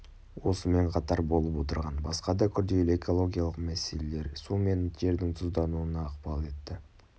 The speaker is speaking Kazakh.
осымен қатар болып отырған басқа да күрделі экологиялық мәселелер су мен жердің тұздануына ықпал етті